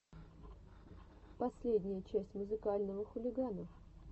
последняя часть музыкального хулигана